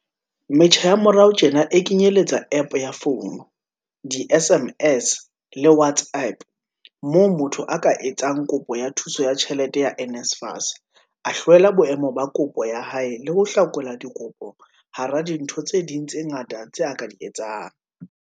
Metjha ya morao tjena e kenyeletsa App ya founu, di-SMS le WhatsApp, moo motho a ka etsang kopo ya thuso ya tjhelete ya NSFAS, a hlwela boemo ba kopo ya hae le ho hlakola dikopo hara dintho tse ding tse ngata tse a ka di etsang.